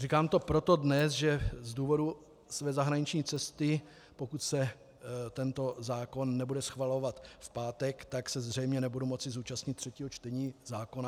Říkám to proto dnes, že z důvodu své zahraniční cesty, pokud se tento zákon nebude schvalovat v pátek, tak se zřejmě nebudu moci zúčastnit třetího čtení zákona.